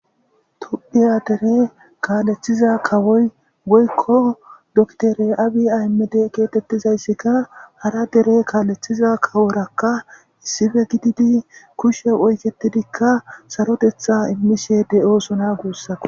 tuddhiya dere kaalethiza kawoy goykko doktore abi aymede geetettizayssika hara dere kaalethiza kaworakka issife gididi kushe oyketidikka sarotetha immishe de7osona guussako